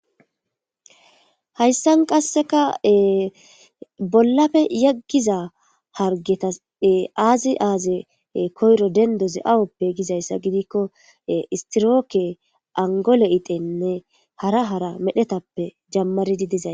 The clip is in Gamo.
hayssan qasseka bollafe yeggiza hargetas aazi aaze koyro dendoze awoppe gizayssa gidikko istirooke angole itenne hara hara medhetappe jammaridi dizay